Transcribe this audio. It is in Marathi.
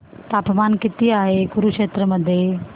तापमान किती आहे कुरुक्षेत्र मध्ये